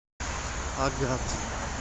агат